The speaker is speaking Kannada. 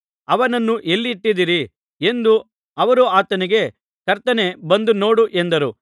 ಅವನನ್ನು ಎಲ್ಲಿ ಇಟ್ಟಿದ್ದೀರಿ ಎಂದನು ಅವರು ಆತನಿಗೆ ಕರ್ತನೇ ಬಂದು ನೋಡು ಎಂದರು